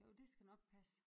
Jo det skal nok passe